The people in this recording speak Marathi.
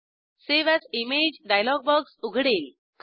save as image dialog box उघडेल